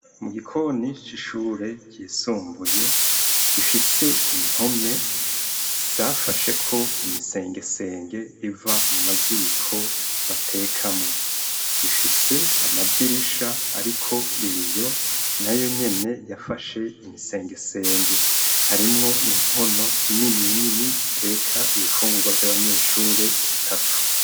Mu gikoni c'ishure vyisumbuye gifise impome safashe ko imisengesenge iva mu maziko batekamwo gifise amadirisha, ariko ibiyo na yo nyene yafashe imisengesenge harimwo inkono inininini ziteka ibifungurwa vy'abanyeshure zitatu.